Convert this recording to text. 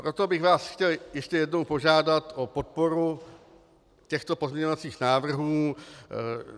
Proto bych vás chtěl ještě jednou požádat o podporu těchto pozměňovacích návrhů.